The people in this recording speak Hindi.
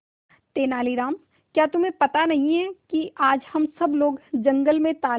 तेनालीराम क्या तुम्हें पता नहीं है कि आज हम सब लोग जंगल में तालाब